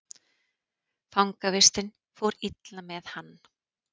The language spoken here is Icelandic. Fangavistin fór illa með hann.